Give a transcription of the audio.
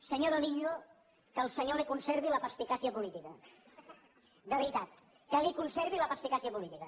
senyor domingo que el senyor li conservi la perspicàcia política de veritat que li conservi la perspicàcia política